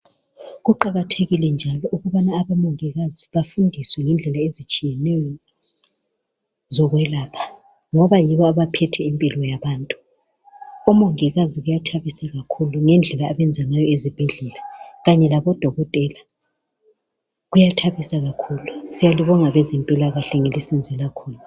Kuqakathekile njalo ukubana abomongikazi bafundiswe ngendlela ezitshiyeneyo, zokwelapha, ngoba yibo abaphethe impilo yabantu. Omongikazi kuyathabisa iakhulu ngendlela abenza ngayo ezibhedlela, kanye labodokotela. Kuyathabisa kakhulu! Siyalibonga bezempilakahle ngelisenzela khona.